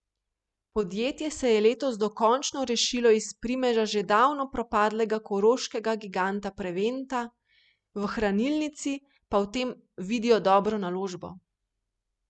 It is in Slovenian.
Podjetje se je letos dokončno rešilo iz primeža že davno propadlega koroškega giganta Preventa, v hranilnici pa v tem vidijo dobro naložbo.